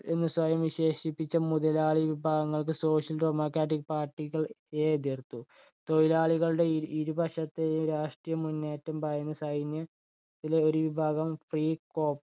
എന്നു സ്വയം വിശേഷിപ്പിച്ച മുതലാളി വിഭാഗങ്ങൾക്ക് social dremocratic party കള്‍ യെ എതിർത്തു. തൊഴിലാളികളുടെ ഇരുപക്ഷത്തെയും രാഷ്ട്രീയ മുന്നേറ്റത്തിൽ ഭയന്ന സൈന്യത്തിലെ ഒരു വിഭാഗം free crop